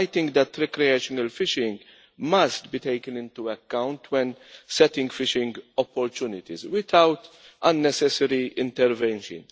I think that recreational fishing must be taken into account when setting fishing opportunities, without unnecessary intervention.